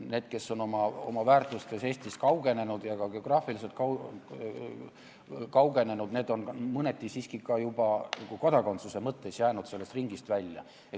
Need, kes on oma väärtustes Eestist kaugenenud ja ka geograafiliselt kaugenenud, need on mõneti siiski juba ka nagu kodakondsuse mõttes jäänud sellest ringist välja.